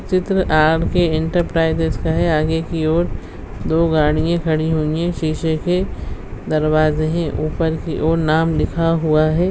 चित्र R K. Enterprises का है आगे की ओर दो गाड़ियां खड़ी हुई हैं सीसे के दरवाजे हैं ऊपर की ओर नाम लिखा हुआ है।